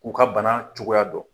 K'u ka bana cogoya dɔn.